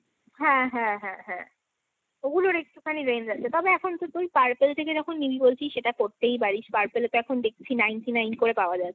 হ্যাঁ হ্যাঁ হ্যাঁ হ্যাঁ। ওগুলোর একটুখানি range আছে। তবে এখন তো তুই Purple থেকে যখন নিবি বলছিস সেটা করতেই পারিস। Purple এ তো এখন ninety-nine করে পাওয়া যাচ্ছে।